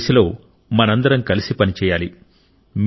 ఈ దిశలో మనమందరం కలిసి పని చేయాలి